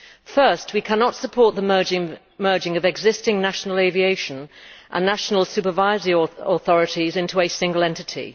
First, we cannot support the merging of existing national aviation and national supervisory authorities into a single entity.